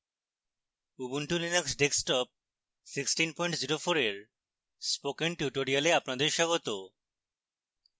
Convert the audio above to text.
ubuntu linux desktop 1604 এর spoken tutorial আপনাদের স্বাগত